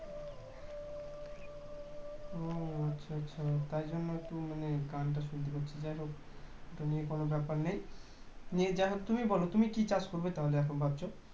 ও আচ্ছা আচ্ছা তার জন্য একটু মানে গানটা শুনতে পাচ্ছি যাই হোক এটা নিয়ে কোনো ব্যাপার নেই নেই যা হোক তুমি বলো তুমি কী চাষ করবে তাহলে এখন ভাবছো